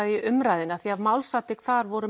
í umræðunni því málsatvik þar voru